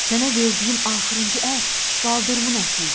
Sənə verdiyim axırıncı ət baldırımın əti idi.